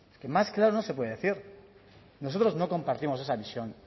que más claro no se puede decir nosotros no compartimos esa visión